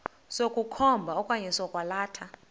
sokukhomba okanye sokwalatha